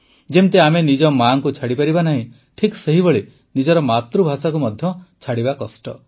ଯେମିତି ଆମେ ନିଜ ମାଙ୍କୁ ଛାଡ଼ିପାରିବା ନାହିଁ ଠିକ୍ ସେହିଭଳି ନିଜର ମାତୃଭାଷାକୁ ମଧ୍ୟ ଛାଡ଼ିପାରିବାନି